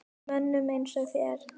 Mönnum eins og þér?